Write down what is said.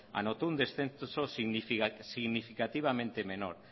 anotó un descenso significativamente menor